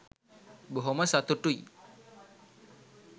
බොහොම සතුටුයි